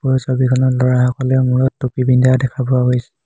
ওপৰৰ ছবিখনত ল'ৰাসকলে মূৰত টুপী পিন্ধা দেখা পোৱা গৈছে।